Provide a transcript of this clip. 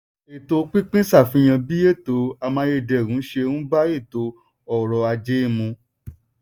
ètò pínpín ṣàfihan bí ètò amáyédẹrùn ṣe n bá ètò ọrọ̀ ajé mu.